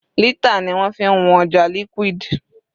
Lítà ni wọ́n fi ń wọn ọjà liquid.